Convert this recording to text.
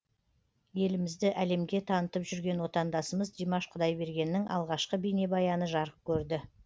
елімізді әлемге танытып жүрген отандасымыз димаш құдайбергеннің алғашқы бейнебаяны жарық көрді